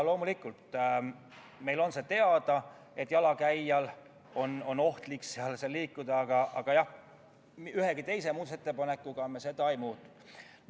Loomulikult on meile teada, et jalakäijal on ohtlik seal liikuda, aga jah, ühegi teise muudatusettepanekuga me seda ei muutnud.